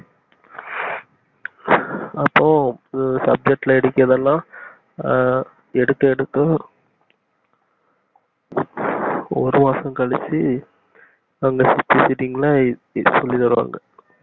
அப்போ ஒரு subject ல இடிக்கர்தலா ஆஹ் எடுக்க எடுக்கும் ஒரு வருஷம் கழிச்சி சொல்லித்தருவாங்க